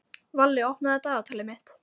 Valli, opnaðu dagatalið mitt.